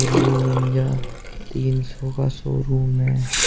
ये निंजा तीन सौ का शोरूम है।